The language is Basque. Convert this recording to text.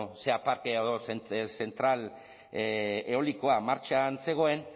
parke edo zentral eolikoa martxan zegoen